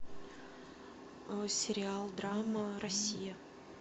сериал драма россия